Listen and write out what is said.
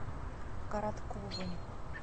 коротковым